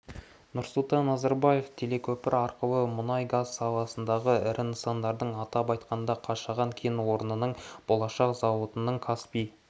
нұрсұлтан назарбаев телекөпір арқылы мұнай-газ саласындағы ірі нысандардың атап айтқанда қашаған кен орнының болашақ зауытының каспий